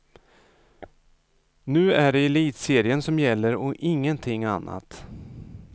Nu är det elitserien som gäller och ingenting annat.